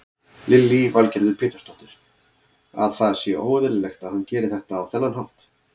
Lillý Valgerður Pétursdóttir: Að það sé óeðlilegt að hann geri þetta á þennan hátt?